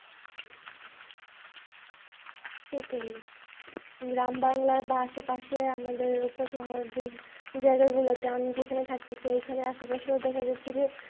সেটাই গ্রাম বাংলার বা আশেপাশে আমাদের উপশহর যেই জায়গা গুলোতে আমি যেখানে থাকতেছি ওইখানে আশে পাশে ও দেখা যাচ্ছে যে।